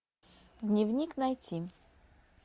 дневник найти